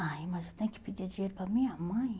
Ai, mas eu tenho que pedir dinheiro para minha mãe?